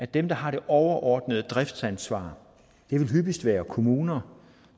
dem der har det overordnede driftsansvar det vil hyppigst være kommuner